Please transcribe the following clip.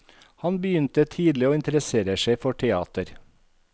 Han begynte tidlig å interessere seg for teater.